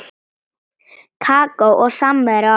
Kakó og samvera á eftir.